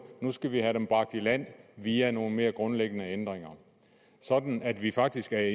nu skal vi have dem bragt i land via nogle mere grundlæggende ændringer sådan at vi faktisk er